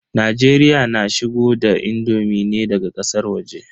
Najeriya na shigo da indomi ne daga ƙasar waje.